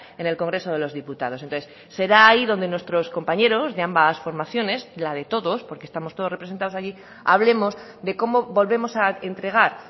en el congreso de los diputados entonces será ahí donde nuestros compañeros de ambas formaciones la de todos porque estamos todos representados allí hablemos de cómo volvemos a entregar